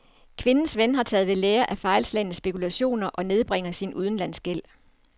Kvindens ven har taget ved lære af fejlslagne spekulationer og nedbringer sin udlandsgæld.